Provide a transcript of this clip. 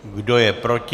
Kdo je proti?